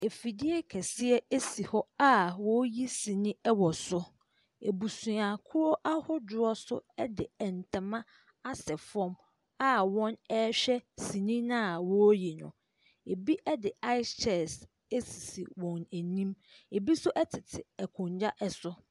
Afidie kɛseɛ si hɔ a wɔreyi sini wɔ so, abusuakuo ahodoɔ nso de ntama asɛ fam a wɔrehwɛ sini no a wɔreyi no. Bi de ice chest sisi wɔn anim, bi nso tete nkonnwa so.